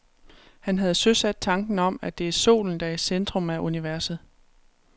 Han havde søsat tanken om, at det er solen, der er i centrum af universet.